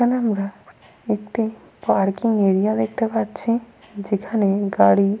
এখানে আমরা একটি পার্কিং এরিয়া দেখতে পাচ্ছি যেখানে গাড়ি।